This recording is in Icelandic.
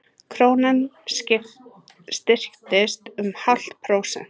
Krónan styrktist um hálft prósent